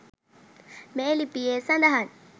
මේ ලිපියේ සඳහන්